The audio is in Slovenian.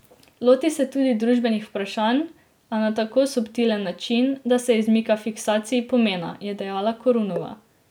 Loti se tudi družbenih vprašanj, a na tako subtilen način, da se izmika fiksaciji pomena, je dejala Korunova.